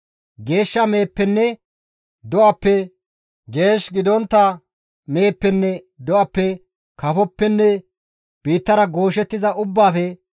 Geeshsha meheppenne do7appe, geesh gidontta meheppenne do7appe, kafoppenne biittara gooshettiza ubbaafe,